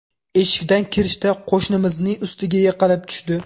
Eshikdan kirishda qo‘shnimizning ustiga yiqilib tushdi.